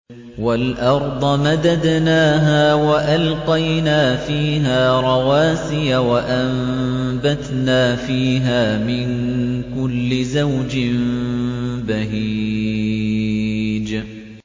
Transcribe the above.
وَالْأَرْضَ مَدَدْنَاهَا وَأَلْقَيْنَا فِيهَا رَوَاسِيَ وَأَنبَتْنَا فِيهَا مِن كُلِّ زَوْجٍ بَهِيجٍ